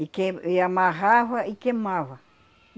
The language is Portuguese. E quei, e amarrava e queimava.